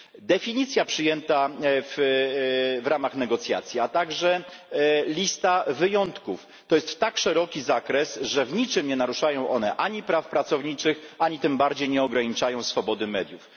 Definicja przyjęta w ramach negocjacji, a także lista wyjątków to jest tak szeroki zakres, że w niczym nie naruszają one ani praw pracowniczych, ani tym bardziej nie ograniczają swobody mediów.